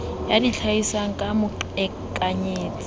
d ya itlhahisang ka boqhekanyetsi